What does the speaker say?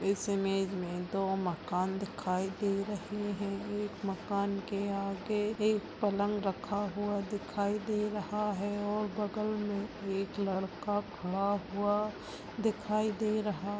इस इमेज में दो मकान दिखाई दे रहे है एक मकान के आगे एक पलंग रखा हुआ दिखाई दे रहा है और बगल मे एक लड़का खड़ा हुआ दिखाई दे रहा --